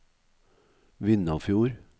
Vindafjord